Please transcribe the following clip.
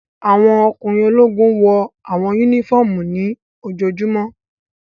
Awọn ọkunrin ologun wọ awọn unifọmú ni lojojumo